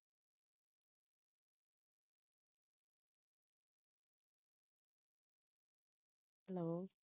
hello